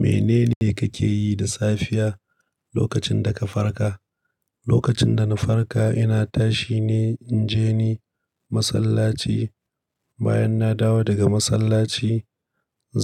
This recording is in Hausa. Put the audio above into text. Menene kake yi da safiya lokacin da ka farka? Lokacin da na farka, ina tashi ne in je ni masallaci. Bayan na dawo daga masallaci,